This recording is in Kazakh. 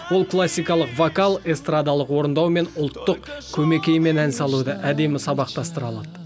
ол классикалық вокал эстрадалық орындау мен ұлттық көмекеймен ән салуды әдемі сабақтастыра алады